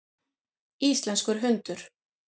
Íslenskur hundur.